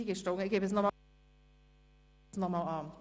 Wir schauen es noch einmal an.